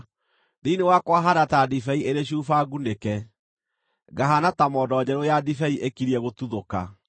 thĩinĩ wakwa haana ta ndibei ĩrĩ cuba ngunĩke, ngahaana ta mondo njerũ ya ndibei ĩkirie gũtuthũka.